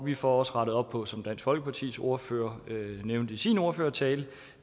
vi får også rettet op på som dansk folkepartis ordfører nævnte i sin ordførertale